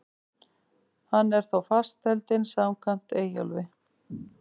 Hann er þó fastheldinn samkvæmt Eyjólfi.